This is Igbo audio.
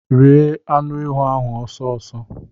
Rie anụ ewu ahụ ọsọ ọsọ.